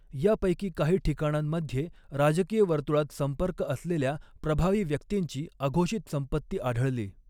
या पैकी काही ठिकाणांमध्ये राजकीय वर्तृळात संपर्क असलेल्या प्रभावी व्यक्तींची अघोषित संपत्ती आढळली.